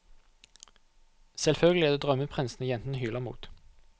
Selvfølgelig er det drømmeprinsene jentene hyler mot.